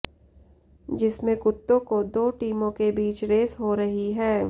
जिसमें कुत्तों को दो टीमों के बीच रेस हो रही है